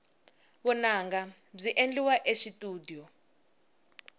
vunanga byi endliwa exitudiyo